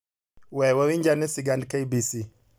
We wawinj ane sigand KBC